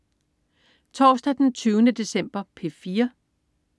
Torsdag den 20. december - P4: